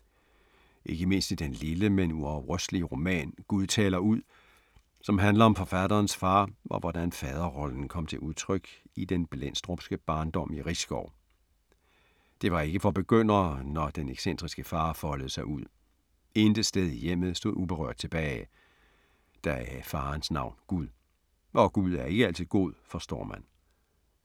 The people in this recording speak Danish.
Ikke mindst i den lille, men uafrystelige roman, Gud taler ud, som handler om forfatterens far og hvordan faderrollen kom til udtryk i den blendstrupske barndom i Risskov. Det var ikke for begyndere, når den excentriske far foldede sig ud. Intet sted i hjemmet stod uberørt tilbage. Deraf farens navn Gud. Og gud er ikke altid god, forstår man.